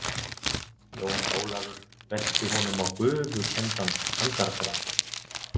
Jón Ólafur benti honum á gufukenndan andardráttinn.